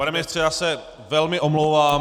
Pane ministře, já se velmi omlouvám.